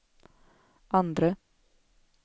andre